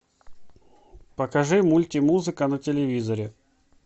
покажи мультимузыка на телевизоре